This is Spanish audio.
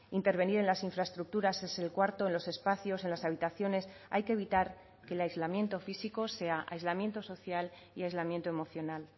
intervenir en las infraestructuras es el cuarto en los espacios en las habitaciones hay que evitar que el aislamiento físico sea aislamiento social y aislamiento emocional